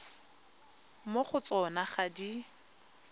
mo go tsona ga di